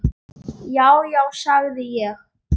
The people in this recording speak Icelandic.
Já, já, sagði ég.